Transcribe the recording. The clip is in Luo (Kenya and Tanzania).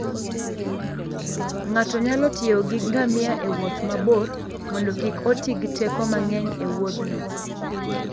Ng'ato nyalo tiyo gi ngamia e wuoth mabor mondo kik oti gi teko mang'eny e Wuothno.